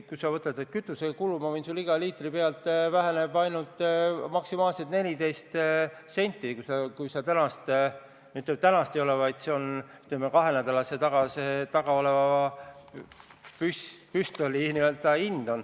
Kui sa võtad kütusekulud, siis ma võin sulle öelda, et iga liitri pealt väheneb ainult maksimaalselt 14 senti – see on, ütleme, kahe nädala tagune püstolihind.